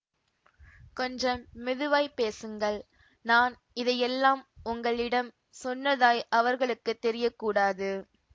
கொஞ்சம் மெதுவாய்ப் பேசுங்கள் நான் இதையெல்லாம் உங்களிடம் சொன்னதாய் அவர்களுக்கு தெரியக்கூடாது